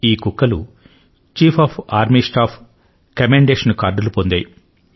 ఈ కుక్కలు chief of army staff commendation కార్డులు పొందాయి